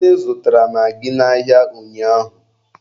Nne zụtara magị n'ahịa ụnyaahụ.